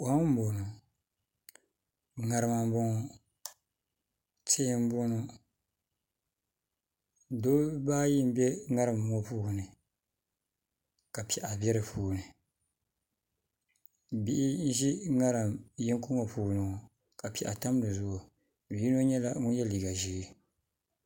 Kom n boŋo ŋarima n boŋo tihi n boŋo dabba ayi n bɛ ŋarim ŋo puuni ka piɛɣu bɛ di puuni bihi n ʒi ŋarim yinga ŋo puuni ŋo ka piɛɣu tam dizuɣu yino nyɛla ŋun yɛ liiga ʒiɛ